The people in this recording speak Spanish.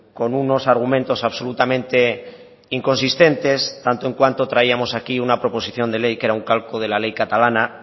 con unos argumentos absolutamente inconsistentes tanto en cuanto traíamos aquí una proposición de ley que era un calco de la ley catalana